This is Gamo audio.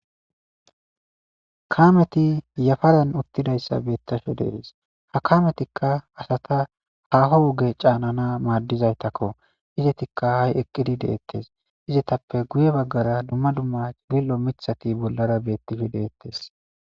Kameti yafaran uttidayssa beettishshe de'ees ha kametikka asata haho woge caanana maaddizaytakko izetikka hay eqqidi deettes izetappe guye baggara dumma dumma bil'o miithhati bollara beettishshe de'ettees